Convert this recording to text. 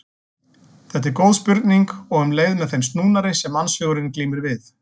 Þetta er góð spurning og um leið með þeim snúnari sem mannshugurinn glímir við.